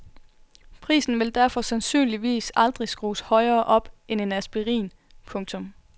Prisen vil derfor sandsynligvis aldrig skrues højere op end en aspirin. punktum